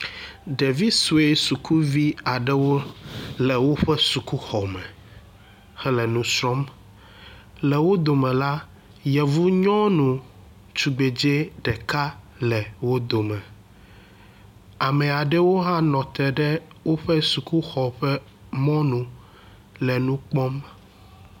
Ɖevi sue sukuvi aɖewo le woƒe sukuxɔme hele nu srɔ̃m. le wo dome la, yɔvu nyɔnu tugbedze ɖeka le wo dome. Ame aɖewo hã nɔ te ɖe woƒe sukuxɔ ƒe mɔnu le nmu kpɔm.